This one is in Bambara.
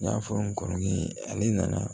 N y'a fɔ n kɔrɔkɛ ye ale nana